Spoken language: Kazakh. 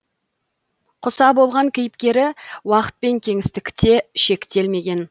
құса болған кейіпкері уақыт пен кеңістікте шектелмеген